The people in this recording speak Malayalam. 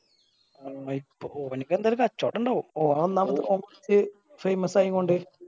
അത് ഇപ്പൊ ഓന്ക്ക് എന്തയാലും കച്ചോടം ഇണ്ടാവും ഓന് ഒന്നാമത് ഓൻ കൊർച് famous ആയിക്കൊണ്ട്